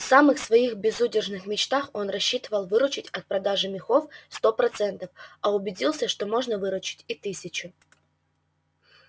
в самых своих безудержных мечтах он рассчитывал выручить от продажи мехов сто процентов а убедился что можно выручить и тысячу